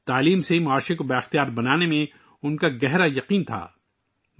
وہ تعلیم کے ذریعے معاشرے کو بااختیار بنانے میں گہرا یقین رکھتی تھیں